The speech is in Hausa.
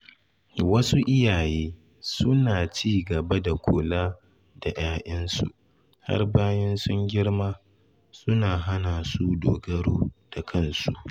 Wasu iyaye suna ci gaba da kula da ‘ya’yansu har bayan sun girma, suna hana su dogaro da kansu.